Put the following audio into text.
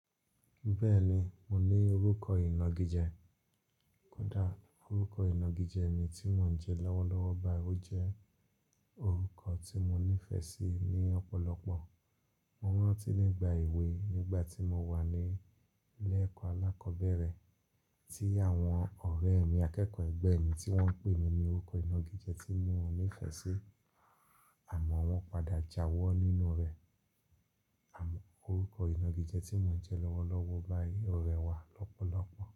Bẹ́ẹ̀ni, mo ní orúkọ ìnagijẹ. Kódà orúkọ ìnagijẹ mi tí mò ń jẹ lọ́wọ́lọ́wọ́ báyìí o jẹ́ orúkọ tí mo nífẹ̀ẹ́ sí ní ọ̀pọ̀lọpọ̀. Mo rántí nígbà èwe nígbà tí mo wà ní ilé ẹ̀kọ́ alákọ̀ọ́bẹ̀rẹ̀ tí àwọn ọ̀rẹ́ mi akẹ́kọ̀ọ́ ẹgbẹ́ mi tí wọ́n ń pè mí ní orúkọ ìnagijẹ tí mi ọ́ nífẹ̀ẹ́ sí àmọ́ wọ́n padà jáwọ́ nínú rẹ̀. Àmọ́ orúkọ ìnagijẹ tí mò ń jẹ lọ́wọ́lọ́wọ́ báyìí ò rẹwà lọ́pọ̀lọpọ̀